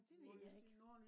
nå det ved jeg ikke